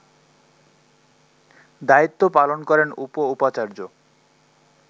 দায়িত্ব পালন করেন উপ-উপাচার্য